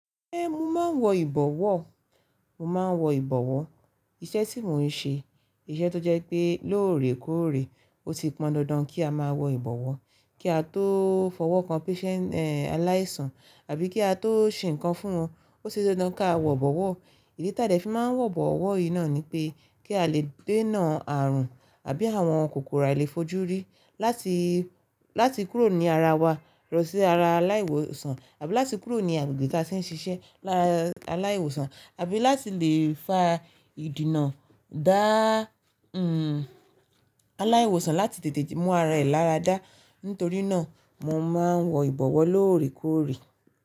Ẹ́n, mo máa ń wọ ìbọ̀wọ́. Mo máa ń wọ ìbọ̀wọ́, iṣẹ́ tí mò ń ṣe, iṣẹ́ tó jẹ́ pé lóòrèkóòrè ó ti pọn dandan kí a máa wọ ìbọ̀wọ́, kí a tó fọwọ́ kan patient, eh, aláìsàn àbí kí a tó ṣe nǹkan fún wọn. Ó ṣe dandan kí a wọ ìbọ̀wọ́. Ìdí tí a lè fi máa ń wọ ìbọ̀wọ́ yìí náà ni pé kí a lè dènà àrùn àbí àwọn kòkòrò àìlèfojúrí láti, láti kúrò ní ara wa lọ sí ara aláìwòsàn àbí láti kúrò ní agbègbè tí a ti ń ṣiṣẹ́ lára aláìwòsàn àbí láti lè fa ìdènà dá, hm, aláìwòsàn láti tètè mú ara rẹ̀ láradá. Nítorí náà mo máa ń wọ ìbọ̀wọ́ lóòrèkóòrè.